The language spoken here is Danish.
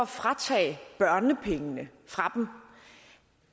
fratages børnepengene